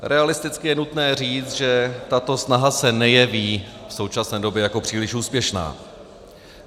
Realisticky je nutné říct, že tato snaha se nejeví v současné době jako příliš úspěšná.